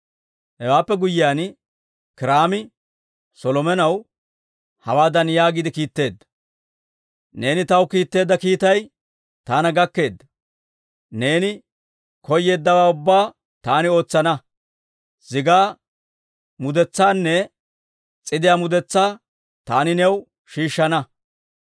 Hewaappe guyyiyaan Kiiraami Solomonaw hawaadan yaagiide kiitteedda; «Neeni taw kiitteedda kiitay taana gakkeedda. Neeni koyeeddawaa ubbaa taani ootsana; zigaa mudetsaanne s'idiyaa mudetsaa taani new shiishshana.